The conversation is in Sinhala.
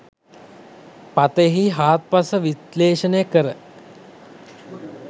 පතයෙහි හාත්පස විශ්ලේෂණය කර